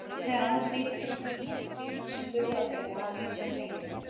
Þegar annað þrýtur er stundum hægt að grípa til skurðaðgerða af ýmsu tagi.